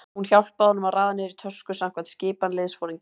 Hún hjálpaði honum að raða niður í tösku samkvæmt skipan liðsforingjans.